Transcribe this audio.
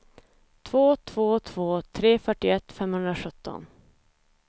två två två tre fyrtioett femhundrasjutton